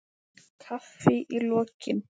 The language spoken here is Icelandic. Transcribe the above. Kaffi í lokin.